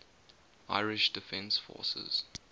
irish defence forces